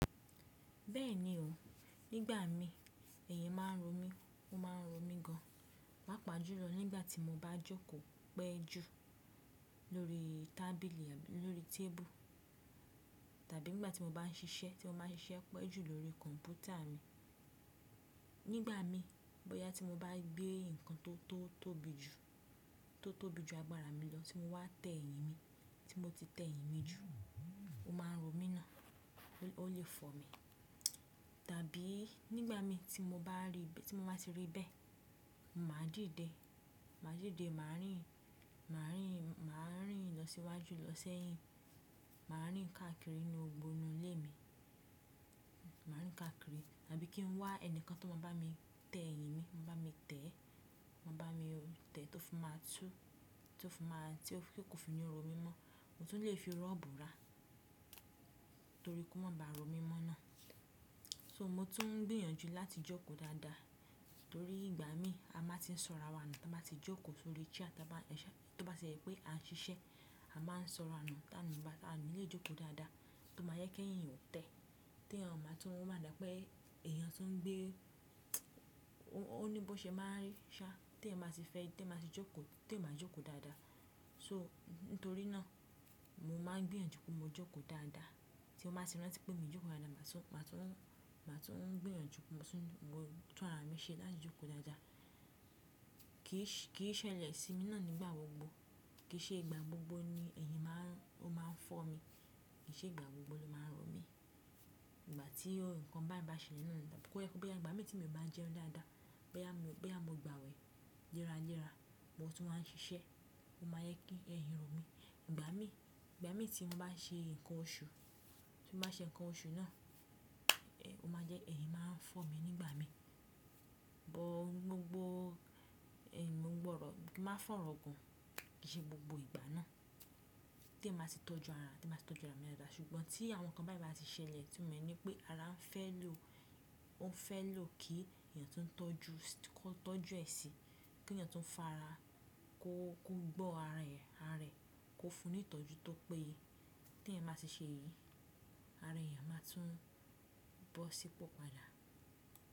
Bẹ́ẹ̀ni o, nígbà mí ẹ̀yìn má a ń ro mí, ó má a ń rọ mí gan, pàápàá jùlọ nígbà tí mo bá jókòó pẹ́ jù lórí tábìlì lórí tébù tàbí nígbà tí mo bá ń ṣiṣẹ́, tí mo bá ń ṣiṣẹ́ pẹ́ jù lórí kọ̀m̀pútà mi. Nígbà mí bóyá tí mo bá gbé nǹkan tó tóbi jù, tó tóbi jù agbára mi lọ tí mo wá tẹ èyìn mi, tí mo ti tẹ èyìn mi jù ó má a ń rọ mí náà, ó lè fọ̀ mí. Tàbí nígbà mí tí mo bá ti rí bẹ́ẹ̀, mà díde, mà díde mà rìn, mà rìn, mà rìn lọ síwájú lọ sẹ́yìn, mà rìn káàkiri ní gbogbo inú ilé mi, mà rìn káàkiri tàbí kí n wá ẹnìkan tó máa bá mi tẹ èyìn mi, máa bá mi tẹ̀, máa bá mi tẹ̀ tó fi má a tú, tí ó fi má a tí ó kò fi ní ro mí mọ́. Mo tún lè fi rọ́ọ̀bù ra torí kó má ba ro mí mọ́ náà. So mo tún ń gbìyànjú láti jókòó dáadáa torí ìgbà mí a máa ti ń sọ̀rọ̀ àwa ní, tí a bá ti jókòó sórí díẹ̀ tí a bá ṣẹ to bá ṣẹ pé à ń ṣiṣẹ́ a máa ń sọ̀rọ̀ náà táa ni a lè jókòó dáadáa tó máa yẹ kí ẹ̀yìn ó tẹ. Tí èèyàn bá tún ó máa dà pé èèyàn tó ń gbé ó ní bó ṣe má a rí ṣá, tí ẹ má sì fẹ́ ẹ tí èèyàn bá ti jókòó, tí ẹ má jókòó dáadáa. So nítorí náà mo máa ń gbìyànjú pé mo jókòó dáadáa tí mo bá ti rántí pé mi jókòó dáadáa mà tún, mà tún, mà tún gbìyànjú mo tún gbọ́ ara mi ṣe láti jókòó dáadáa. Kì í ṣẹlẹ̀ sí mi náà nígbà gbogbo, kì í ṣe ìgbà gbogbo ni ẹ̀yìn má a ń ó máa fọ̀ mí, kì í ṣe ìgbà gbogbo ló má a ń rọ mí. Ìgbà tí ohun kan báyìí bá ṣẹlẹ̀ náà ni, bóyá pé bá ìgbà mí tí mo bá ń jẹun dáadáa, bá ì mo bá gbàwẹ̀ léra léra, mo tún ń ṣiṣẹ́ ó máa yẹ kí ẹ̀yìn rọ̀ mí. Ìgbà mí, ìgbà mí tí mo bá ṣe nǹkan oṣù, tí mo bá ṣe nǹkan oṣù náà, ó máa jẹ́ ẹ̀yìn má a ń fọ̀ mí nígbà mí. Gbogbo ẹ̀yin mo gbọ́rọ̀, máa fọ̀rọ̀ gun, kì í ṣe gbogbo ìgbà náà tí èèyàn ba ti tọ́jú ara, tí ẹ má sì tọ́jú ara mi dáadáa. Ṣùgbọ́n tí àwọn nǹkan báyìí bá sì ṣẹlẹ̀ tí mo mọ̀ ní pé ara ń fẹ́ lò ó ń fẹ́ lò kí èèyàn tó ń tọ́jú kó tọ́jú ẹ síi, kí èèyàn tó ń fara kó gbọ́ ara rẹ̀, ara rẹ̀ kó fún un ìtọ́jú tó péye. Tí èèyàn bá ti ṣe èyí ara èèyàn má tún bọ̀ sípò padà.